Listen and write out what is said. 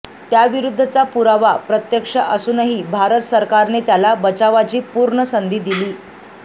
त्याविरुद्धचा पुरावा प्रत्यक्ष असूनही भारत सरकारने त्याला बचावाची पूर्ण संधी दिली